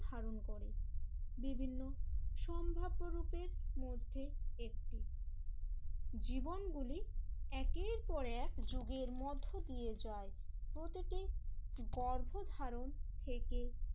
ধারণ করে বিভিন্ন সম্ভাব্য রূপের মধ্যে একটি জীবন গুলি একের পর এক যুগের মধ্য দিয়ে যায়। প্রতিটি গর্ভধারণ থেকে